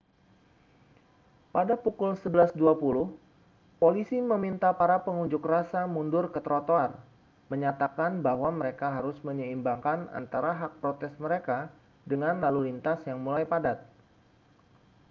pada pukul 11.20 polisi meminta para pengunjuk rasa mundur ke trotoar menyatakan bahwa mereka harus menyeimbangkan antara hak protes mereka dengan lalu lintas yang mulai padat